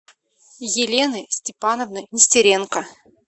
елены степановны нестеренко